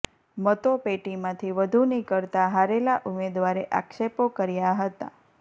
મતો પેટીમાંથી વધુ નિકળતાં હારેલા ઉમેદવારે આક્ષેપો કર્યા હતા